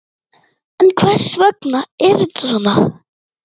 En hvers vegna er þetta svona?